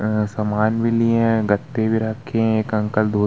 अ सामान भी लिए हैं गत्ते भी रखे हैं एक अंकल धो --